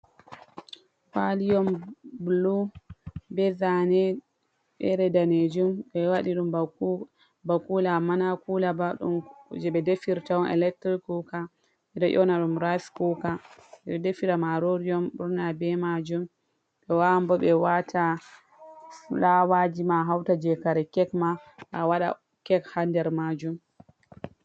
Kwali on bulu be zaane fere danejum. Ɓe waɗi ba kula amma na kula ba. Je ɓe defirta on elektirik kuka. Ɓe ɗo nyonaɗum rays kuka jee defirta maarori on ɓurna be maajum. Ɓe waawan waata fulaawa ji ma a hauta je kare kek ma a waɗa kek haa nder maajum.